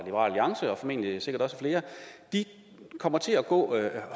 sikkert også flere kommer til at gå